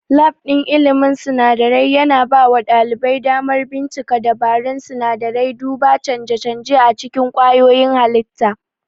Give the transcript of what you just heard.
Lab ɗin ilmin sinadarai yana bawa ɗalibai damar bincika dabarun sinadarai, duba canje-canje a cikin kwayoyin halitta.